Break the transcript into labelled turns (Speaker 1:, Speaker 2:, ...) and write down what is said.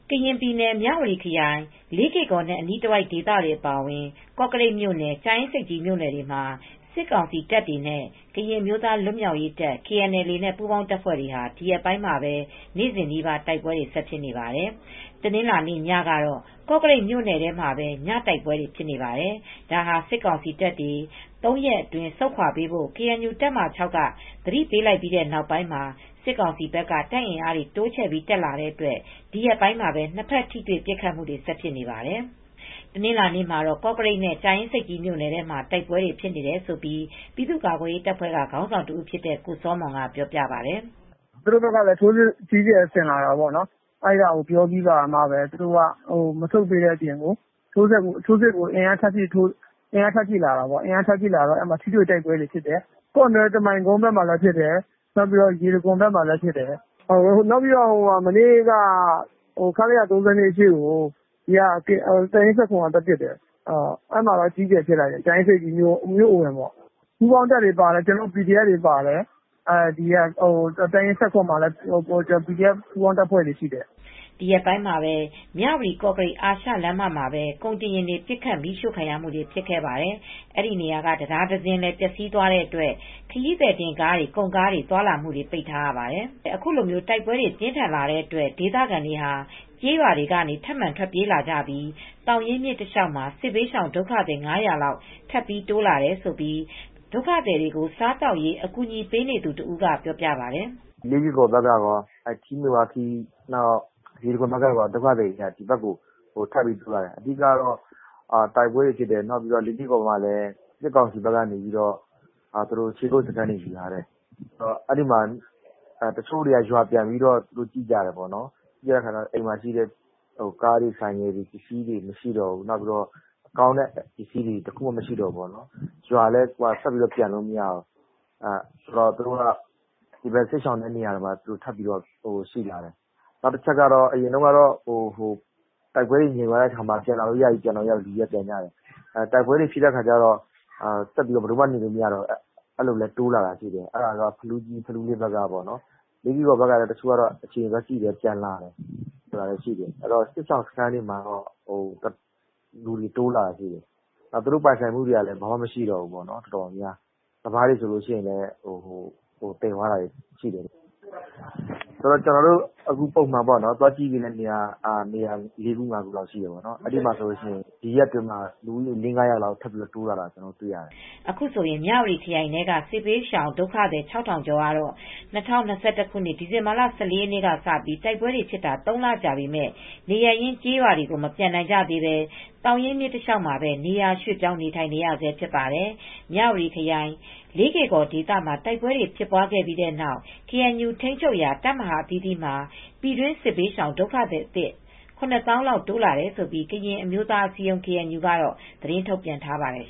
Speaker 1: ကရင် ပြည်နယ် မြဝတီခရိုင် လေးကေ့ကော်နဲ့ အနီးတဝိုက် ဒေသတွေ အပါအဝင် ကော့ကရိတ် မြို့နယ်၊ ကြာအင်းဆိပ်ကြီး မြို့နယ်တွေမှာ စစ်ကောင်စီ တပ်တွေနဲ့ ကရင် အမျိုးသား လွတ်မြောက်ရေးတပ် KNLA နဲ့ ပူးပေါင်းတပ်ဖွဲ့တွေဟာ ဒီရက်ပိုင်းမှာဘဲ နေ့စဉ်နီးပါး တိုက်ပွဲတွေ ဆက်ဖြစ်နေပါတယ်။ တနင်္လာနေ့ ညကတော့ ကော့ကရိတ် မြို့နယ်ထဲမှာပဲ ညတိုက်ပွဲတွေ ဖြစ်နေပါတယ်။ ဒါဟာ စစ်ကောင်စီတပ်တွေ ၃ ရက်အတွင်း ဆုတ်ခွါပေးဖို့ KNU တပ်မဟာ(၆)က သတိပေးလိုက်ပြီး နောက်ပိုင်းမှာ စစ်ကောင်စီဘက်က တပ်အင်အားတွေ တိုးချဲ့ပြီး တက်လာတဲ့အတွက် ဒီရက်ပိုင်းမှာပဲ နှစ်ဖက်ထိတွေ့ ပစ်ခတ်မူတွေ ဆက်ဖြစ်နေပါတယ်။ တနင်္လာနေ့မှာတော့ ကော့ကရိတ်နဲ့ ကြာအင်းဆိပ်ကြီး မြိုနယ်ထဲမှာ တိုက်ပွဲတွေ ဖြစ်နေတယ်လို့ ပြည်သူ့ကာကွယ်ရေး တပ်ဖွဲ့ ခေါင်းဆောင်တဦးဖြစ်တဲ့ ကိုစောမွန်က ပြောပြပါတယ်။
Speaker 2: “ သူတို့ဘက်ကလည်း ထိုးစစ်အ ကြီးအကျယ် ဆင်လာတာပေါ့နော်။ အဲဒါကို ပြောပြီးကာမှ သူတို့က မဆုတ်တဲ့ အပြင် ထိုးစစ်ကို အင်အား ထပ်ဖြည့်လာတာပေါ့နော်။ အဲဒီအတွက် ထိတွေ့တိုက်ပွဲတွေက ဆက်ဖြစ်နေတယ်။ ကောနွဲ့ကမိုင် ကုန်းဘက်မှာလည်း ဖြစ်တယ်။ ရေတံခွန် ဘက်မှာလည်း ဖြစ်တယ်။ မနေ့ကတော့ ခလရ ၃၂ ကို KNU (တပ်ရင်း ၁၇) က သွားပစ်တယ်။ အဲဒီမှာ အကြီးအကျယ် ဖြစ်တယ်။ ကြာအင်းဆိပ်ကြီးမြို့ အဝင်ပေါ့။ ပူးပေါင်းတပ်တွေ ပါတယ်။ ကျနော်တို့ PDF တွေ ပါတယ်။ တပ်ရင်း ၁၇ မှာလည်း ကျနော်တို့ ပူးပေါင်းတပ်ဖွဲ့တွေ ရှိပါတယ်။ ”
Speaker 1: ဒီရက်ပိုင်းအတွင်းမှာပဲ မြဝတီ ကော့ကရိတ် အာရှလမ်းမမှာပဲ ကုန်တင်ယာဉ်တွေ ပစ်ခတ်ခံရပါတယ်။ အဲဒီနေရာက တံတားတစင်းလည်း ပျက်စီးသွားတဲ့ အတွက် ခရီးသည်တင်ကားတွေ၊ ကုန်ကားတွေ သွားလာမှုတွေ ပိတ်ထားရပါတယ်။ အခုလို တိုက်ပွဲတွေ ပြင်းထန်လာတဲ့အတွက် ဒေသခံတွေဟာ ကျေးရွာတွေကနေ ထပ်မံထွက်ပြေးလာကြပြီး သောင်ရင်းမြစ်တလျှောက်မှာ စစ်ဘေးရှောင် ဒုက္ခသည် ၅၀၀ လောက် ထပ်ပြီးတိုးလာတယ်လို့ ဒုက္ခသည်တွေကို စားသောက်ရေး အကူအညီပေးနေသူ တဦးက ပြောပါတယ်
Speaker 3: ။ “ လေးကေ့ကော်ဘက်က ကောထီးမယ်ဝါးခီး ရေတံခွန်ဘက်ကကော ဒုက္ခသည်တွေ ပိုတိုးလာတယ်။ အဓိက ကတော့ တိုက်ပွဲတွေက ဖြစ်နေတယ်။ အထူးသဖြင့်တော့ လေးကေ့ကော်မှာလည်း စစ်ကောင်စီဘက်က ခြေကုတ်စခန်းတွေ ယူထားတယ်။ တချို့တွေက ရွာပြန်ကြည့်တော့ အိမ်မှာ ကားတွေ၊ ဆိုင်ကယ်တွေ မရှိတော့ဘူး။ အိမ်မှာ ကောင်းတဲ့ ပစ္စည်းတွေ မရှိတော့ဘူး။ ရွာထဲလည်း ပြန်မရတော့ဘူး။ ဒီတော့ စစ်ရှောင်တဲ့ နေရာကိုလည်း ထပ်ပြီး ပြန်လာကြတယ်။ အရင်တုန်းက တိုက်ပွဲတွေ ငြိမ်သွားတော့ ပြန်လာလို့ ရပြီဆိုပြီးပြန်ကြတယ်။ နောက်တော့ တိုက်ပွဲတွေ ပြန်ဖြစ်တော့ နေလို့ မရတော့ ထပ်ပြီး လူတွေတိုးလာတယ်။ ဖလူးလေး ဘက်ကပေါ့နော်။ လေးကေ့ကော် ဘက်ဆိုလည်း အိမ်တွေကို သွားပြန်ကြည့်တော့ သူတို့ ပိုင်ဆိုင်မှုတွေက ဘာမှ မရှိတော့ဘူး။ စပါးတွေ ဘာတွေလည်း သယ်သွားကြတယ် ပြောတယ်။ ကျနော်တို့ သွားကူညီနေရတဲ့ နေရာတွေဆို လေးခု ငါးခုလောက်ရှိတယ်။ ဒီရက်ပိုင်းမှာပဲ လူဦးရေ ၅၀၀ လောက် ထပ်တိုးလာတယ်။
Speaker 1: ” အခုဆိုရင် မြဝတီခရိုင်ထဲက စစ်ဘေးရှောင်ဒုက္ခသည် ၆,၀၀၀ ကျော်ကတော့ ၂၀၂၁ ခုနှစ်ဒီဇင်ဘာလ ၁၅ရက်နေ့က စပြီး တိုက်ပွဲတွေ ဖြစ်တာ ၃ လ ကြာပြီ ဖြစ်ပေမယ့် နေရပ်ရင်း ကျေးရွာတွေကို မပြန်နိုင်ကြသေးဘဲ သောင်ရင်းမြစ် တလျှောက်မှာဘဲ နေရာရွှေ့ပြောင်း နေထိုင်နေရဆဲ ဖြစ်ပါတယ်။ မြဝတီခရိုင် လေးကေ့ကော် ဒေသမှာ တိုက်ပွဲဖြစ်ပွားခဲ့ပြီးတဲ့နောက် ကေအန်ယူ ထိန်းချုပ်ရာ တပ်မဟာ အသီးသီးမှာ ပြည်တွင်းစစ်ေဘေးရှောင် ဒုက္ခသည်အသစ် ၇၀,၀၀၀ လောက် တိုးလာတယ်လို့ ကရင်အမျိုးသား အစည်းအရုံး KNU က သတင်းထုတ်ပြန်ထားပါတယ်